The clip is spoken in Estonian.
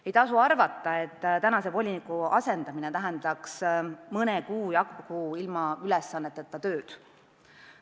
Ei maksa arvata, et praeguse voliniku asendamine tähendaks mõne kuu jagu ilma ülesanneteta tööd.